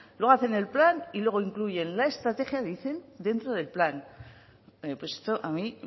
luego hacen el plan y luego incluyen la estrategia dicen dentro del plan esto a mí